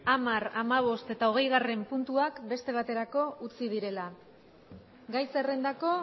hamar hamabost eta hogeigarrena puntuak beste baterako utzi direla gai zerrendako